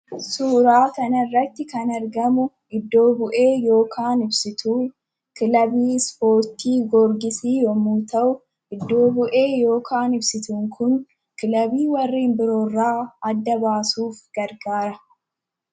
Suuraa kana irratti kan argamu iddo bu'ee yookaan ibsituu kilabii ispoortii Goorgisii yemmuu ta'u, iddo bu'een yookaan ibsituun kun kilabii biraa irraa adda baasuuf gargaara.